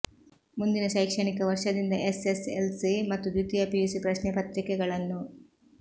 ಮುಂದಿನ ಶೈಕ್ಷಣಿಕ ವರ್ಷದಿಂದ ಎಸ್ಎಸ್ಎಲ್ಸಿ ಮತ್ತು ದ್ವಿತೀಯ ಪಿಯುಸಿ ಪ್ರಶ್ನೆ ಪತ್ರಿಕೆಗಳನ್ನು